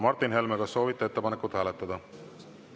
Martin Helme, kas soovite ettepanekut hääletada?